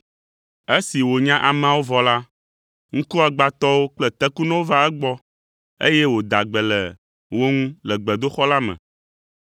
Esi wònya ameawo vɔ la, ŋkuagbãtɔwo kple tekunɔwo va egbɔ, eye wòda gbe le wo ŋu le gbedoxɔ la me,